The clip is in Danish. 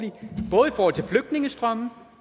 for